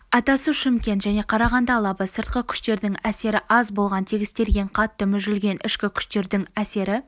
атасу шымкент және қарағанды алабы сыртқы күштердің әсері аз болған тегістелген қатты мүжілген ішкі күштердің әсері